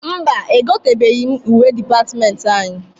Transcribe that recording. Mba, egotebeghi m uwe dịpatịmentị anyị.